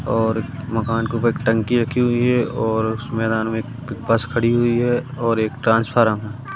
और मकान के ऊपर टंकी रखी हुई है और उसमें मैदान के पास बस खड़ी हुई है और एक ट्रांसफार्मर है।